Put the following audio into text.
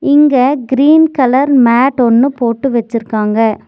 இங்க green colour mat ஒன்னு போட்டு வச்சுருக்காங்க.